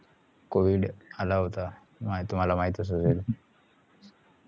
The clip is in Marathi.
covid आला होता तुम्हाला माहितच होता